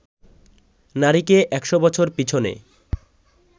নারীকে একশ বছর পিছনে